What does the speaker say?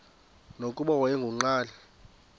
nokuba wayengu nqal